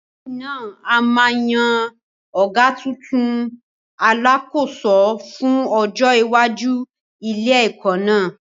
Lẹ́yìn náà, a máa yan ọ̀gá tuntun, Alákòóso, fún ọjọ́ iwájú ilé-ẹ̀kọ́ náà.